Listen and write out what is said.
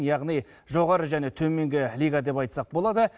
яғни жоғары және төменгі лига деп айтсақ болады